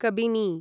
Kabini